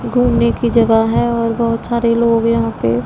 घूमने की जगह है और बहुत सारे लोग यहां पे--